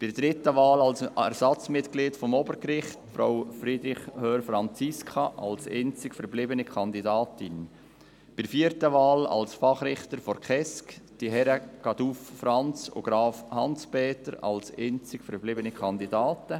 Bei der dritten Wahl, Ersatzmitglied für das Obergericht, unterstützen wir Frau Franziska Friederich Hörr als einzige verbliebene Kandidatin, bei der vierten Wahl als Fachrichter des Kindes- und Erwachsenenschutzgerichts die Herren Franz Caduff und Hans Peter Graf als einzige verbliebene Kandidaten.